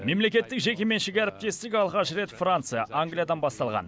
мемлекеттік жекеменшік әріптестік алғаш рет франция англиядан басталған